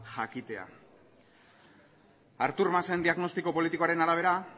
jakitea artur masen diagnostiko politikoaren arabera